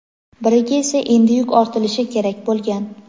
biriga esa endi yuk ortilishi kerak bo‘lgan.